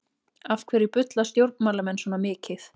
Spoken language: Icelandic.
Af hverju bulla stjórnmálamenn svona mikið?